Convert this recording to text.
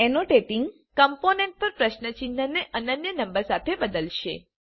annotating component પર પ્રશ્ન ચિહ્નને અનન્ય નંબર સાથે બદલશે